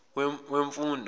wemfundo